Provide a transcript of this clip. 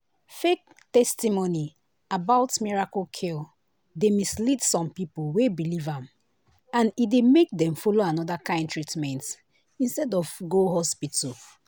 fake testimony about miracle cure dey mislead some people wey believe am and e dey make dem follow another kind treatment instead of go hospital.